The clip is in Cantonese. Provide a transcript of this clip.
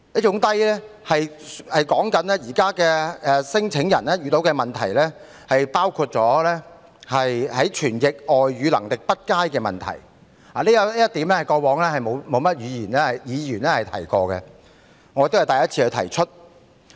現時聲請人遇到的問題，包括傳譯外語能力欠佳，過往從未有議員提過這一點，而我也是首次提出。